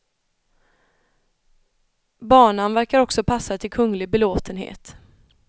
Banan verkar också passa till kunglig belåtenhet.